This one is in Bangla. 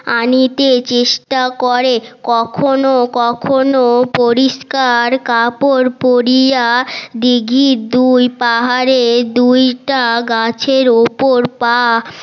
আনিতে চেষ্টা করে কখনো কখনো পরিষ্কার কাপড় পরিয়া দিঘির দুল পাহাড়ে দুলটা গাছের উপর পা